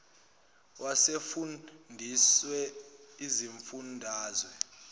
wesifun dazwe izifundazwe